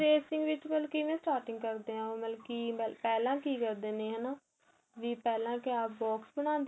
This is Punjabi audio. tracing ਦੇ ਵਿੱਚ ਮਤਲਬ ਕਿਵੇਂ starting ਕਰਦੇ ਹੈ ਉਹ ਮਲਕੀ ਪਹਿਲਾਂ ਕੀ ਕਰਦੇ ਨੇ ਹੈਨਾ ਵੀ ਪਹਿਲਾਂ ਕਿਆ box ਬਣਾਉਦੇ